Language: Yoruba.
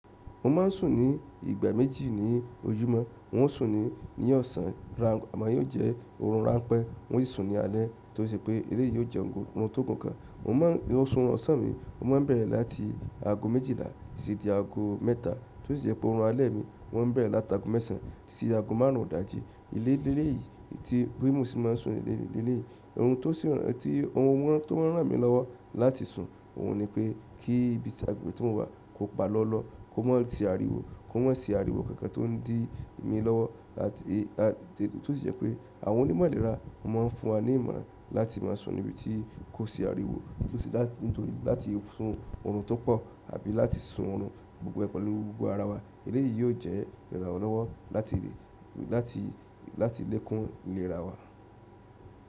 Mo máa ń sùn ní ìgbà méjì ní ojúmọ́. Oun o sùnni ní ọ̀sán, ámọ́ yóò jẹ́ orun rán pẹ́. Oun o si sùn ní alẹ́, tó sè pé eleyìí yóò jẹ́ oorun tó gùn kán. Mo máa ń ló sùn ọ̀sán mi, mo máa ń bẹ̀rẹ̀ láti aago méjìlá fi di aago mẹ́ta. Tó si jẹ́ pé oorun alẹ́ mi, o maa ń bẹ̀rẹ̀ láti aago mẹ́sàn fi dtí aago márùn idají. Bi eléyìí tí mó se máa ń sùn ní iléyìí, ohun tí ó ń ràn mí lọ́wọ́ láti sùn, òun ni pé kí agbègbè tí mo wa kó pa lọ́ lọ. Kó má sí ariwo, kómá sí ariwo kankan tó ń dín mi lọ́wọ́. To si je pe àwọn onímọ̀ ìlera won fún wa ni ìmọ̀ràn láti maa sun nibi ti kosi ariwo, nítorí kati sun orun topo àbí láti sun orun gbogbo e, pẹ̀lú gbogbo ara wa. Eleyii yóò je ìrànlọ́wọ́ láti lekun ìlera wa.